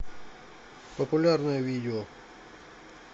популярное видео